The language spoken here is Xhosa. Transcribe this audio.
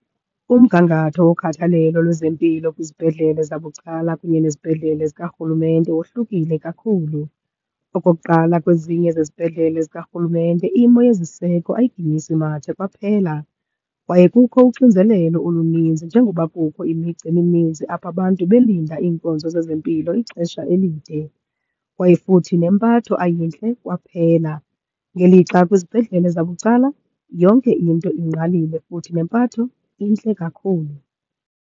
Umgangatho wokhathalelo lwezempilo kwizibhedlele zabucala kunye nezibhedlele zikarhulumente wohlukile kakhulu. Okokuqala, kwezinye zezibhedlele zikarhulumente imo yeziseko ayiginyisi mathe kwaphela kwaye kukho uxinzelelo oluninzi njengoba kukho imigca emininzi, apho abantu belinda iinkonzo zezempilo ixesha elide kwaye futhi nempatho ayintle kwaphela. Ngelixa kwizibhedlele zabucala yonke into ingqalile futhi nempatho intle kakhulu.